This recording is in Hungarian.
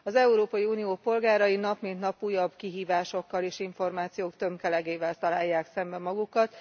Az Európai Unió polgárai nap mint nap újabb kihívásokkal és információk tömkelegével találják szembe magukat.